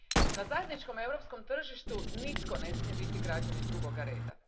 Na zajedničkom europskom tržištu nitko ne smije biti građanin drugog reda.